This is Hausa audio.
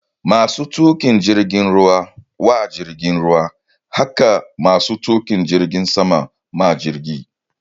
Masu tuƙin jirgin ruwa wa jirgin ruwa hake masu tuƙin jirgin sama ma jirgi